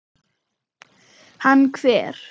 Hann hver?